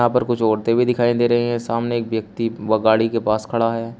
यहां पर कुछ औरतें भी दिखाई दे रही हैं सामने एक व्यक्ति वह गाड़ी के पास खड़ा है।